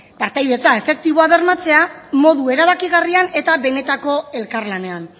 partaidetza efektiboa bermatzea modu erabakigarrian eta benetako elkarlanean